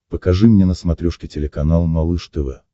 покажи мне на смотрешке телеканал малыш тв